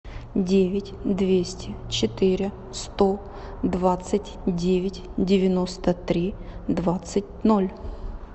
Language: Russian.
девять двести четыре сто двадцать девять девяносто три двадцать ноль